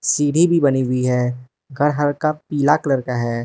सीढ़ी भी बनी हुई है घर हल्का पीला कलर का है।